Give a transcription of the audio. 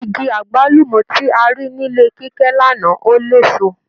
Igi agbalumọ ti a rí nílé Kíkẹ́ l'ana ò l'éso